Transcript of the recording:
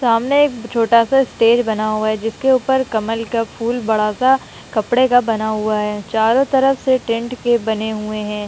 सामने एक छोटा सा स्टेज बना हुआ है जिसके ऊपर कमल का फूल बड़ा सा कपड़े का बना हुआ है चारों तरफ से टेंट के बने हुए हैं।